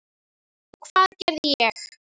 Og hvað gerði ég?